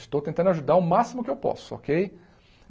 Estou tentando ajudar o máximo que eu posso, ok?